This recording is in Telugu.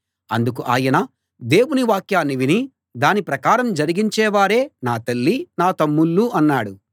అందుకు ఆయన దేవుని వాక్యాన్ని విని దాని ప్రకారం జరిగించే వారే నా తల్లీ నా తమ్ముళ్ళూ అన్నాడు